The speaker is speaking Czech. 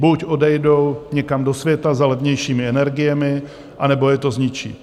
Buď odejdou někam do světa za levnějšími energiemi, anebo je to zničí.